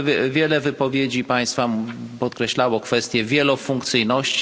Wiele wypowiedzi państwa podkreślało kwestie wielofunkcyjności.